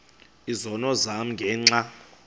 izono zam ngenxa